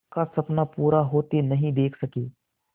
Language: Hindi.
का सपना पूरा होते नहीं देख सके